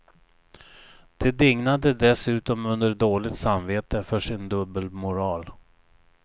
De dignade dessutom under dåligt samvete för sin dubbelmoral.